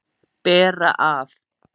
Bera af.